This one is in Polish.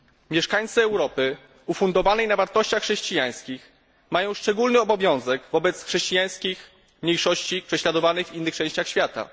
Mieszkańcy Europy opartej na wartościach chrześcijańskich mają szczególny obowiązek wobec chrześcijańskich mniejszości prześladowanych w innych częściach świata.